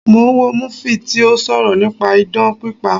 Mo ń wo múfì tí ó sọ̀rọ̀ nípa idán pípa